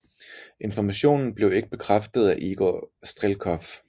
Informationen blev ikke bekræftet af Igor Strelkov